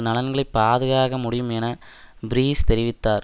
நலன்களை பாதுகாக்க முடியும் என பீரிஸ் தெரிவித்தார்